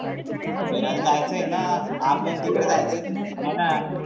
फिरायला जायचं आहेना. आपल्या तीकडं जायचं याला